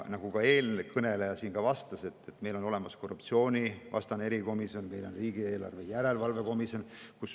Nagu ka eelkõneleja siin vastas, meil on olemas korruptsioonivastane erikomisjon, meil on riigieelarve komisjon.